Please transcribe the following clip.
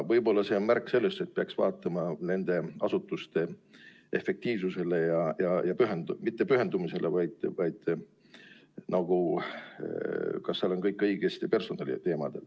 Võib-olla see on märk sellest, et peaks vaatama nende asutuste efektiivsust ja kas seal on personaliga ikka kõik hästi.